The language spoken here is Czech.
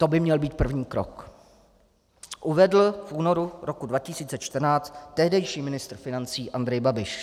To by měl být první krok," uvedl v únoru roku 2014 tehdejší ministr financí Andrej Babiš.